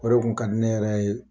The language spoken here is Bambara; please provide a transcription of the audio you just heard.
O de kun ka di ne yɛrɛ ye.